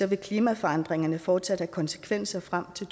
vil klimaforandringerne fortsat have konsekvenser frem til